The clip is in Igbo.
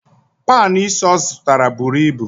Panụ ísí ọ zụtara buru ibu.